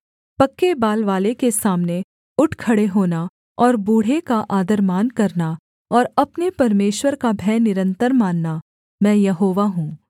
पक्के बाल वाले के सामने उठ खड़े होना और बूढ़े का आदरमान करना और अपने परमेश्वर का भय निरन्तर मानना मैं यहोवा हूँ